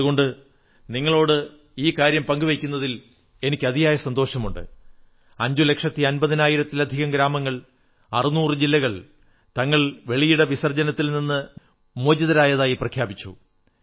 അതുകൊണ്ട് നിങ്ങളോട് ഈ കാര്യം പങ്കു വയ്ക്കുന്നതിൽ അതിയായ സന്തോഷമുണ്ട് അഞ്ചു ലക്ഷത്തി അമ്പതിനായിരത്തിലധികം ഗ്രാമങ്ങൾ 600 ജില്ലകൾ തങ്ങൾ വെളിയിട വിസർജ്ജനത്തിൽ നിന്ന് മോചിതരായതായി പ്രഖ്യാപിച്ചു